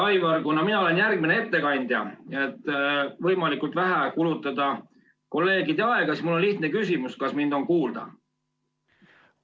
Aivar, kuna mina olen järgmine ettekandja ja et võimalikult vähe kulutada kolleegide aega, siis mul on lihtne küsimus: kas mind kuulda?